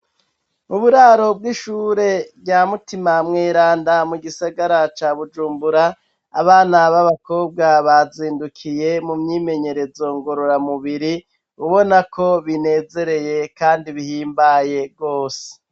u buraro bw'ishure rya mutima mweranda mu gisagara ca bujumbura, abana b'abakobwa bazindukiye mu myimenyerezo ngorora mubiri, ubona ko binezereye kandi bihimbaye rwose.